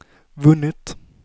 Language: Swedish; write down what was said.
vunnit